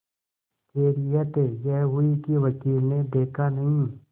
खैरियत यह हुई कि वकील ने देखा नहीं